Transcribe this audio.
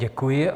Děkuji.